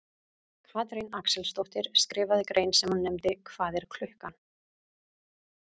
Katrín Axelsdóttir skrifaði grein sem hún nefndi Hvað er klukkan?